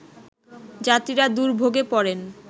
যাত্রীরা দুর্ভোগে পড়েন